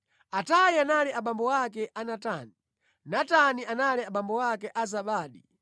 Atayi anali abambo ake a Natani, Natani anali abambo ake a Zabadi,